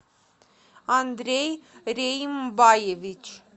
андрей реймбаевич